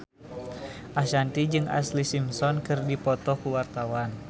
Ashanti jeung Ashlee Simpson keur dipoto ku wartawan